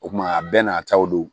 O kuma a bɛɛ n'a taw don